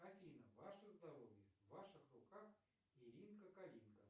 афина ваше здоровье в ваших руках иринка калинка